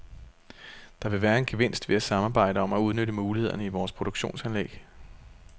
Der vil være en gevinst ved at samarbejde om at udnytte mulighederne i vores produktionsanlæg.